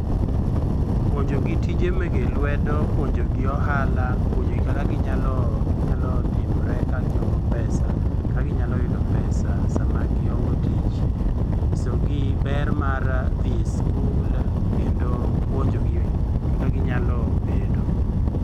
Puonjogi tije mege lwedo, puonjo gi ohala, puonjogi kaka ginyalo ginyalo timre ka giongo pesa kaka ginyalo yudo pesa sama giongo tich. Nyisogi ber mar dhi e skul kendo puonjogi kaka ginyalo bedo.